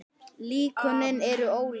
Líkönin eru ólík.